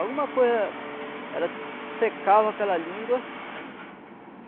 Alguma coisa... Ela secava aquela língua.